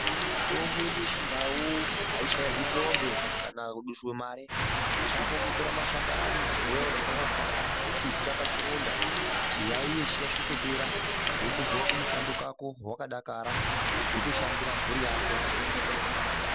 Mitombo yedu yechindau aishairwi hlombe kana kudusirwe Mari chako kutora mashakani wotswanya tswanya vozodzera pachironda icho chiyaiyo chotopera wotodzokera kumushando kwako wakadakara wotoshandira mhuri yako.